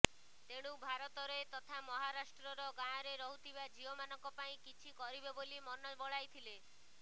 ତେଣେୁ ଭାରତରେ ତଥା ମହାରାଷ୍ଟ୍ରର ଗାଁରେ ରହୁଥିବା ଝିଅ ମାନଙ୍କ ପାଇଁ କିଛି କରିବେ ବୋଲି ମନ ବଳାଇଥିଲେ